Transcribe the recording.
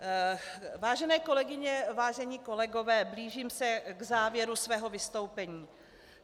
Vážené kolegyně, vážení kolegové, blížím se k závěru svého vystoupení.